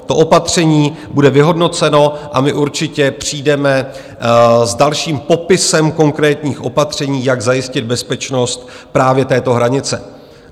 To opatření bude vyhodnoceno a my určitě přijdeme s dalším popisem konkrétních opatření, jak zajistit bezpečnost právě této hranice.